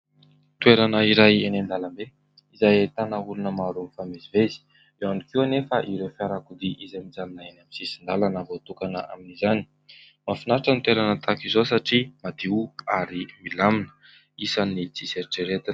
Toerana iray eny an-dalambe izay ahitana olona maro mifamezivezy. Eo ihany koa anefa ireo fiarakodia izay mijanona eny amin'ny sisn-dalana voatokana amin'izany. Mahafinaritra ny toerana tahaka izao satria madio ary milamina, isan'ny tsy misy eritreretina.